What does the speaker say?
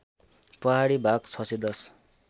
पहाडी भाग ६१०